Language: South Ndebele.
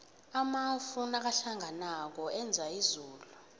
amafu nakahlanganako enza izulu